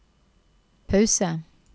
pause